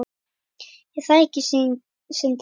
Er það ekki Sindri?